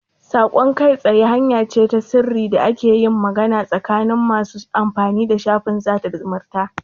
Saƙon kai tsaye hanya ce ta sirri da ake yin magana tsakanin masu amfani da shafin sada zumunta.